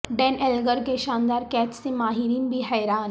ڈین Elgar کے شاندار catch سے ماہرین بھی حیران